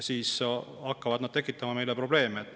Siis hakkavad nad tekitama meile probleeme.